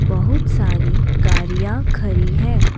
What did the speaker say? बहुत सारी गारीया खरी है।